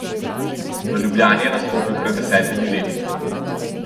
V Ljubljani je nastopil pred desetimi leti.